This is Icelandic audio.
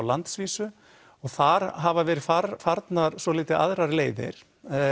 landsvísu og þar hafa verið farnar svolítið aðrar leiðir